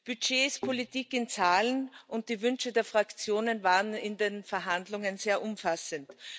Budget ist Politik in Zahlen, und die Wünsche der Fraktionen waren in den Verhandlungen sehr umfassend.